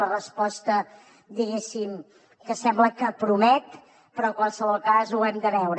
la resposta diguéssim que sembla que promet però en qualsevol cas ho hem de veure